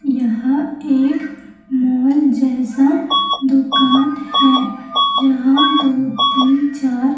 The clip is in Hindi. यह एक मॉल जैसा दुकान है जहां दो तीन चार--